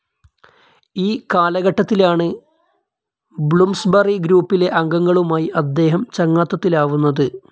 ഈ കാലഘട്ടത്തിലാണ്‌ ബ്ലൂംസ്ബറി ഗ്രൂപ്പിലെ അംഗങ്ങളുമായി അദ്ദേഹം ചങ്ങാത്തത്തിലാവുന്നത്.